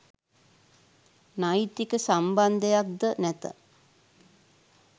නෛතික සම්බන්ධයක් ද නැත.